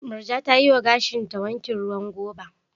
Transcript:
Murja ta yi wa gashinta wankin ruwan goba.